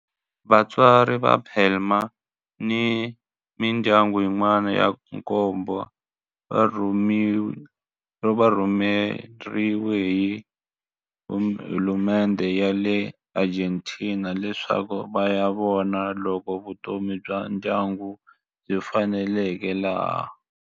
Vatswari va Palma ni mindyangu yin'wana ya nkombo va rhumeriwe hi hulumendhe ya le Argentina leswaku va ya vona loko vutomi bya ndyangu byi faneleka laha.